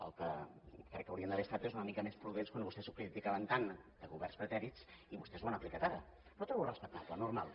el que crec que haurien d’haver estat és una mica més prudents quan vostès ho criticaven tant de governs pretèrits i vostès ho han aplicat ara però ho trobo respectable normal